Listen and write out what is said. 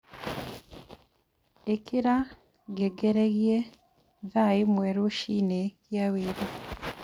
ĩkira ngengeregĩa thaa ĩmwe rũcinĩ gĩa wĩra